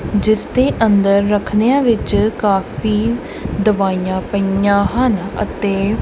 ਜਿੱਸ ਦੇ ਅੰਦਰ ਰਖਨਿਆਂ ਵਿੱਚ ਕਾਫੀ ਦਵਾਈਆਂ ਪਾਇਆਂ ਹਨ ਅਤੇ--